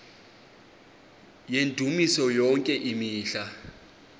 yendumiso yonke imihla